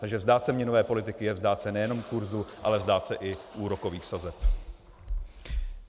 Takže vzdát se měnové politiky je vzdát se nejenom kurzu, ale vzdát se i úrokových sazeb.